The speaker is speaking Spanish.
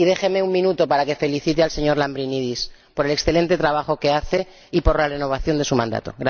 Y déjeme un minuto para que felicite al señor Lambrinidis, por el excelente trabajo que hace y por la renovación de su mandato.